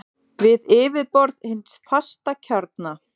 við yfirborð hins fasta kjarna.